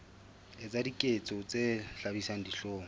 etsa diketso tse hlabisang dihlong